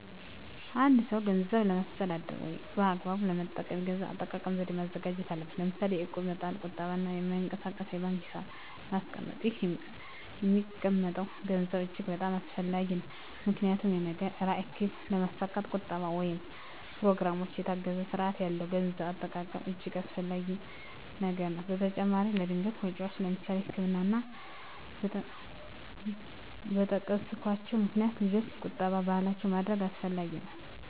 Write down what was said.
አ አንድ ሰው ገንዘብን ለማስተዳደር ወይም በአግባቡ ለመጠቀም የገንዘብ አጠቃቀም ዘዴ ማዘጋጀት አለበት ለምሳሌ የእቁብ መጣል ቁጠባ እና በማይንቀሳቀስ የባንክ ሒሳብ ማስቀመጥ ይህ የሚቀመጠም ገንዘብ እጅግ በጣም አስፈላጊ ነው ምክንያቱም የነገ ራዕይ ግብ ለማስካት ቁጠባ ወይም በኘሮግራም የታገዘ ስርአት ያለው የገንዘብ አጠቃቀም እጅገ አስፈላጊ ነገር ነው በተጨማራም ለድንገተኛ ወጨወች ለምሳሌ ለህክምና እና እና በጠቀስኮቸው ምክንያቶች ልጆች ቁጠባ ባህላችን ማድረግ አስፈላጊ ነው።